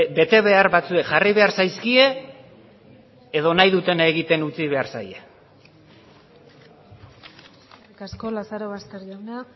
betebehar batzuk jarri behar zaizkie edo nahi dutena egiten utzi behar zaie eskerrik asko lazarobaster jauna